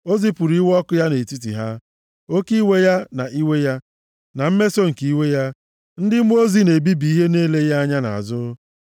O zipụrụ iwe ọkụ ya nʼetiti ha, oke iwe ya, na iwe ya, na mmeso nke iwe ya, ndị mmụọ ozi na-ebibi ihe na-eleghị anya nʼazụ.